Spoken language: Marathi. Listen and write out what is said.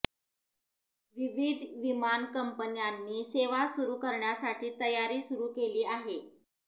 विविध विमान कंपन्यांनी सेवा सुरू करण्यासाठी तयारी सुरू केली आहे